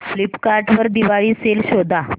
Flipkart वर Diwali sale शोधा